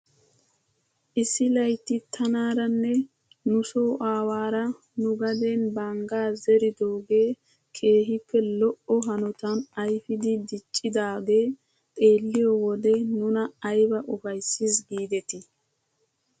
Issi laytti tanaaranne nuso aawaara nu gaden banggaa zeridoogee keehippe lo'o hanotan ayfidi diccidaagee xeelliyoo wode nuna ayba ufayssis giidetii!